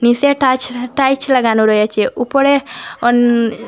নিসে টাচ-টাইচ লাগানো রয়েছে ওপরে অন--